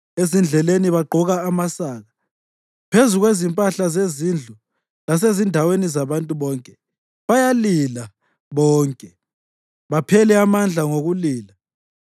Ezindleleni bagqoka amasaka, phezu kwezimpahla zezindlu lasezindaweni zabantu bonke, bayalila bonke, baphele amandla ngokulila.